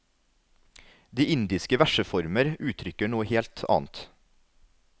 De indiske verseformer utrykker noe helt annet.